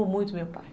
Amo muito meu pai.